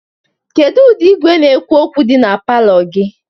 kedu ụdị igwe na-ekwu okwu dị na palọ gị?